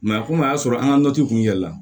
komi a y'a sɔrɔ an ka kun yɛlɛla